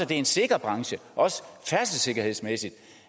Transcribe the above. det er en sikker branche også færdselssikkerhedsmæssigt